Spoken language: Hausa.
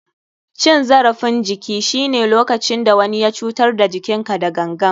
Cin zarafin jiki shine lokacin da wani ya cutar da jikinka da gangan.